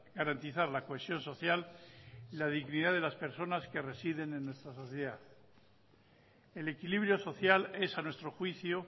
garantizar la cohesión social y la dignidad de las personas que residen en nuestra sociedad el equilibrio social es a nuestro juicio